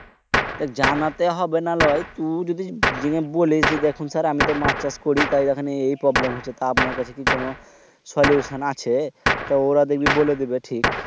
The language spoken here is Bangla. জানাইলতে হবেনা লয় তো যদি জিং এ বলিস যে দেখুন স্যার আমি তো মাছ চাষ করি তাই এখানে এই problem হচ্ছে আপনার কাছে কি কোন solution আছে? তো ওরা দেখবি বলে দিবে ঠিক।